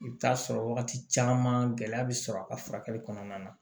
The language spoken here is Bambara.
I bɛ taa sɔrɔ wagati caman gɛlɛya bɛ sɔrɔ a ka furakɛli kɔnɔna na